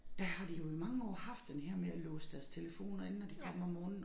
Der har de jo i mange år haft den her med at låse deres telefoner inde når de kommer om morgenen